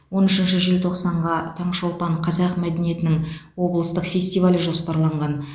он үшінші желтоқсанға таңшолпан қазақ мәдениетінің облыстық фестивалі жоспарланған